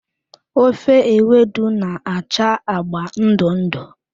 Ofe Ewedu na-acha agba ndụ ndụ.